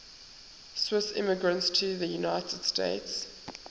swiss immigrants to the united states